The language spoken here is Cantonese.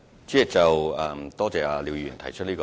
主席，我感謝廖議員提出意見。